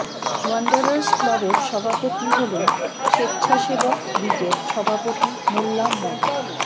Wanderers ক্লাবের সভাপতি হলেন স্বেচ্ছাসেবক লীগের সভাপতি মোল্লা মো